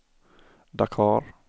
Dakar